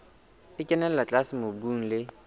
e kenella tlase mobung le